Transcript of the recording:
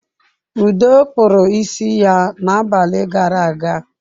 Udo kpụrụ isi ya na abalị gara aga.